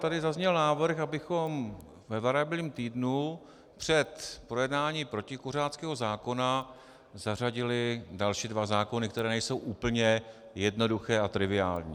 Tady zazněl návrh, abychom ve variabilním týdnu před projednáním protikuřáckého zákona zařadili další dva zákony, které nejsou úplně jednoduché a triviální.